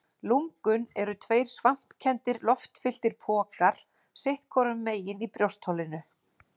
Lungun eru tveir svampkenndir, loftfylltir pokar sitt hvorum megin í brjóstholinu.